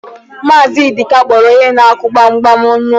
Maazị Ịdịka kpọrọ onye na-akụ gbam gbam n'ụlọ.